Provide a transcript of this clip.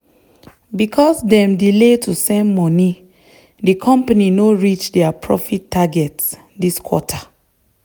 because dem delay to send money the company no reach their profit target this quarter.